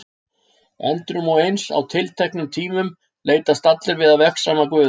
Endrum og eins, á tilteknum tímum, leitast allir við að vegsama Guð.